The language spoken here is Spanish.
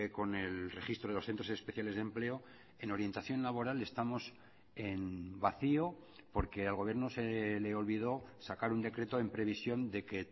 con el registro de los centros especiales de empleo en orientación laboral estamos en vacío porque al gobierno se le olvidó sacar un decreto en previsión de que